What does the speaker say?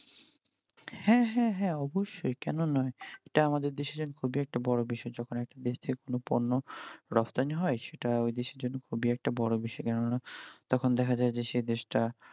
হ্যাঁ হ্যাঁ হ্যাঁ অবশ্যই কেন নয় এটা আমাদের দেশের খুবই একটা বড় বিষয় যখন একটা দেশ থেকে কোন পণ্য রপ্তানি হয় সেটা ওই দেশের জন্য খুবই একটা বড় বিষয় কেননা তখন দেখা যায় যে সে দেশটা